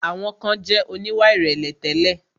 Àwọn kan jẹ̀ oníwà ìrẹ̀lẹ̀ tẹ́lẹ̀.